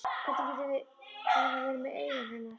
Hvernig getur Hera verið með augun hennar?